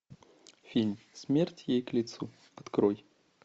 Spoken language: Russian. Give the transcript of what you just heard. фильм смерть ей к лицу открой